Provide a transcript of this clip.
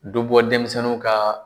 Do bɔ denmisɛnninw ka